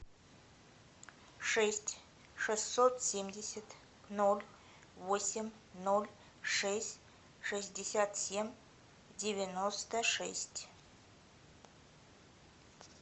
шесть шестьсот семьдесят ноль восемь ноль шесть шестьдесят семь девяносто шесть